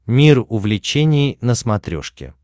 мир увлечений на смотрешке